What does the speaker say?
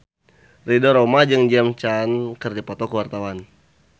Ridho Roma jeung James Caan keur dipoto ku wartawan